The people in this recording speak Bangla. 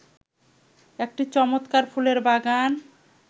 একটি চমৎকার ফুলের বাগান